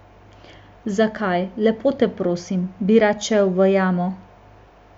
Zakaj, lepo te prosim, bi rad šel v jamo?